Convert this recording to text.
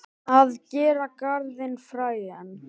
Að gera garðinn frægan